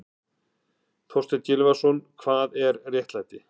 Þorstein Gylfason, Hvað er réttlæti?